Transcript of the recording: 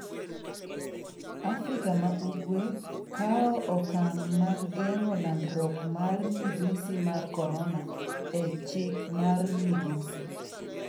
Afrika ma Ugwe' kawo okang' mag geng'o landruok mar midhusi mar Korona e chik mar Migosi